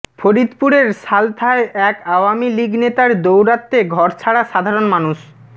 ফরিদপুরের সালথায় এক আওয়ামীলীগ নেতার দৌরাত্বে ঘরছাড়া সাধারণ মানুষ